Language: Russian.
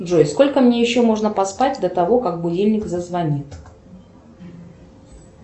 джой сколько мне еще можно поспать до того как будильник зазвонит